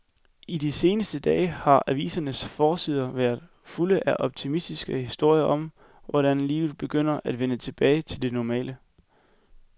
I de seneste dage har avisernes forsider været fulde af optimistiske historier om, hvordan livet begynder at vende tilbage til det normale.